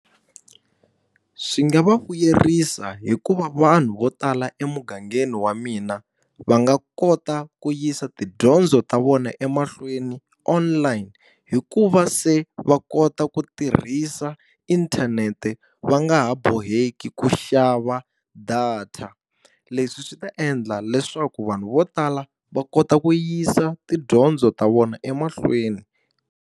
Swi nga va vuyerisa hi ku va vanhu vo tala emugangeni wa mina, va nga kota ku yisa tidyondzo ta vona emahlweni online, hikuva se va kota ku tirhisa inthanete va nga ha boheki ku xava data. Leswi swi ta endla leswaku vanhu vo tala va kota ku yisa tidyondzo ta vona emahlweni.